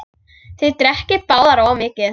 Þið drekkið báðir of mikið.